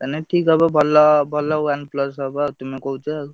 ମାନେ ଠିକ ହବ ଭଲ, ଭଲ OnePlus ହବ ତୁମେ କହୁଛ ଆଉ।